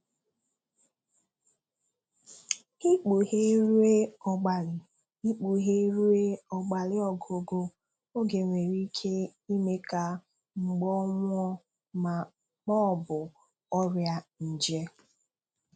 Ị̀kpùghè ruo ọ́gbàlị Ị̀kpùghè ruo ọ́gbàlị ọ̀gụ̀gụ̀ oge nwere ike ị̀mè ka mbọ̀ nwụọ̀ ma ọ̀bụ́ ọ́rịa nje